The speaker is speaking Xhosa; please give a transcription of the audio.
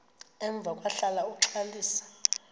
emva kwahlala uxalisa